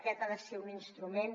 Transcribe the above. aquest ha de ser un instrument